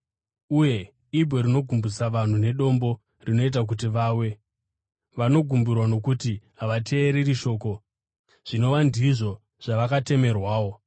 uye, “Ibwe rinogumbusa vanhu nedombo rinoita kuti vawe.” Vanogumburwa nokuti havateereri shoko, zvinova ndizvo zvavakatemerwawo.